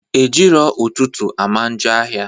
Ejii ro ututu amanjo ahia